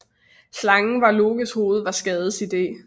Slangen over Lokes hoved var Skades idé